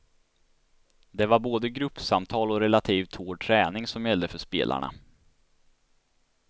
Det var både gruppsamtal och relativt hård träning som gällde för spelarna.